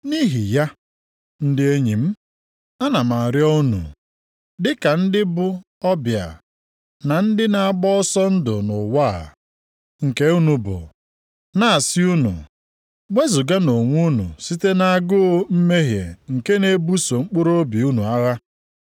Nʼihi ya, ndị enyi m, ana m arịọ unu, dịka ndị bụ ọbịa na ndị na-agba ọsọ ndụ nʼụwa a, nke unu bụ, na-asị unu, wezuganụ onwe unu site nʼagụụ mmehie nke na-ebuso mkpụrụobi unu agha.